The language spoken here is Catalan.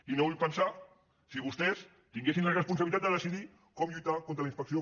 i no vull pensar si vostès tinguessin la responsabilitat de decidir com lluitar contra la inspecció